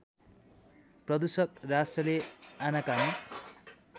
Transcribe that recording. प्रदूषक राष्ट्रले आनाकानी